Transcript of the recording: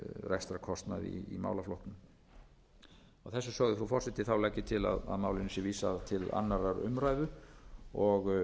rekstrarkostnaði í málaflokknum að þessu sögðu frú forseti legg ég til að málinu sé vísað til annarrar umræðu og